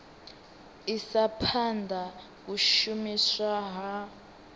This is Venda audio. isa phanda u shumiswa ha